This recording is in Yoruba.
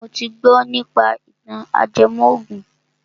Mo ti gbọ nípa ìtàn ajẹmọ ògùn